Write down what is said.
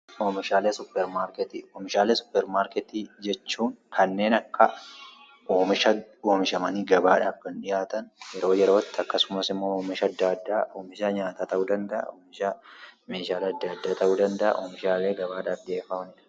Oomishaalee suppermaarkeetii Oomishaalee suppermaarkeetii jechuun kanneen akka oomisha oomishamanii gabaadhaaf kan dhiyaatan yeroo yerootti akkasumas immoo oomisha adda addaa oomisha nyaataa ta'uu danda'a, oomisha meeshaalee adda addaa ta'uu danda'a, oomishaalee gabaadhaaf dhiyeeffamanii dha.